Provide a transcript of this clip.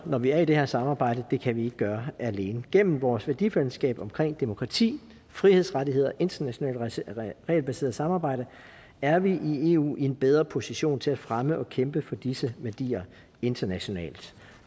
når vi er i det her samarbejde det kan vi ikke gøre alene gennem vores værdifællesskab omkring demokrati frihedsrettigheder internationalt regelbaseret samarbejde er vi i eu i en bedre position til at fremme og kæmpe for disse værdier internationalt